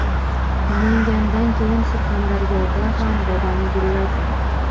Namangandan keyin Surxondaryoda ham bodom gulladi .